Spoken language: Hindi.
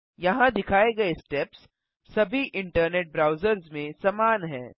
यहाँ दिखाए गये स्टेप्स सभी इंटरनेट ब्राउज़र्स में समान हैं